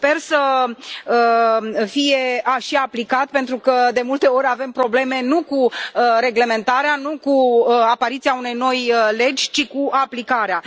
Sper să fie și aplicat pentru că, de multe ori, avem probleme nu cu reglementarea, nu cu apariția unei noi legi, ci cu aplicarea.